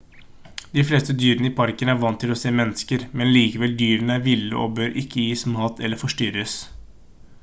de fleste dyrene i parken er vant til å se mennesker men likevel dyrene er ville og bør ikke gis mat eller forstyrres